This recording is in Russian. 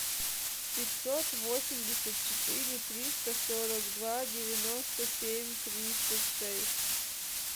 пятьсот восемьдесят четыре триста сорок два девяносто семь тридцать шесть